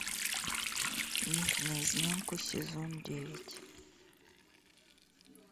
мир наизнанку сезон девять